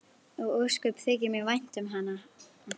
Og ósköp þykir mér vænt um hana.